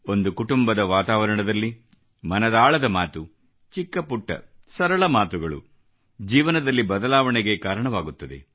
ಒಂದು ಕುಟುಂಬದ ವಾತಾವರಣದಲ್ಲಿ ಮನದಾಳದ ಮಾತು ಚಿಕ್ಕಪುಟ್ಟ ಸರಳ ಮಾತುಗಳು ಜೀವನದಲ್ಲಿ ಬದಲಾವಣೆಗೆ ಕಾರಣವಾಗುತ್ತದೆ